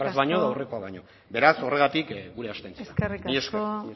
noski aurrekoa baino beraz horregatik gure abstentzioa mila esker eskerrik asko